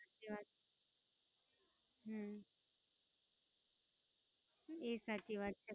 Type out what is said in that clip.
સાચી વાત. હમ ઈ ય સાચી વાત છે.